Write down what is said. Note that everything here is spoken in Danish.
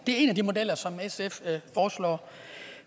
er en af de modeller som sf foreslår